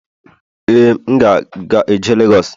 ee, m ga-eje Lagos